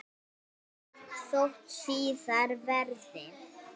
Sjáumst þótt síðar verði.